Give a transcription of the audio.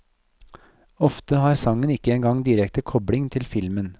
Ofte har sangen ikke engang direkte kopling til filmen.